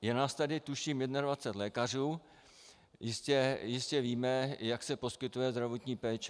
Je nás tady tuším 21 lékařů, jistě víme, jak se poskytuje zdravotní péče.